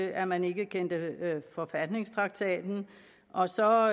at man ikke kendte forfatningstraktaten og så